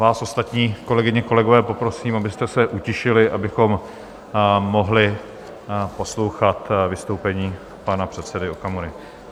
Vás ostatní, kolegyně, kolegové, poprosím, abyste se utišili, abychom mohli poslouchat vystoupení pana předsedy Okamury.